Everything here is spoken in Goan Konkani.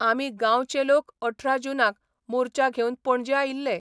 आमी गांवचे लोक अठरा जूनाक मोर्चा घेवन पणजे आयिल्ले.